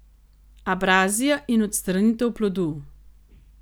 Abrazija in odstranitev plodu.